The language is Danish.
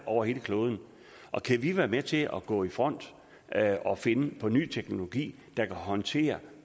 over hele kloden og kan vi være med til at gå i front og finde på ny teknologi der kan håndtere